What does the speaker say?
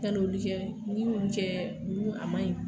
Ka n'olu kɛ , ni ye olu kɛ a man ɲi.